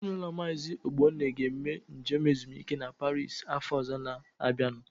Ezinaụlọ Maazi Ogbonna ga-eme njem ezumike a Paris afọ ọzọ ga-abịanu.